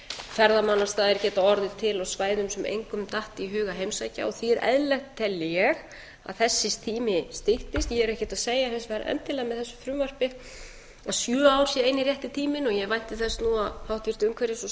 ferðamannastaðir geta orðið til á svæðum sem engum datt í hug að heimsækja og því er eðlilegt tel ég að þessi tími styttist ég er ekkert að segja hins vegar endilega með þessu frumvarpi að sjö ár sé eini rétti tíminn og ég vænti þess nú að háttvirt umhverfis og